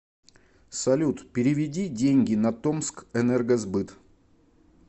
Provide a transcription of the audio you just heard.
салют переведи деньги на томск энергосбыт